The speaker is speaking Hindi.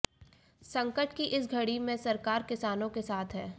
संकट की इस घड़ी में सरकार किसानों के साथ है